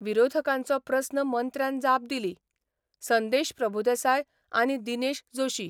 विरोधकांचो प्रस्न मंत्र्यान जाप दिली, ' संदेश प्रभुदेसाय आनी दिनेश जोशी.